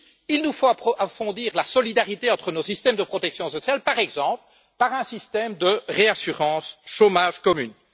Oui, il nous faut approfondir la solidarité entre nos systèmes de protection sociale, par exemple avec un système de réassurance chômage commune.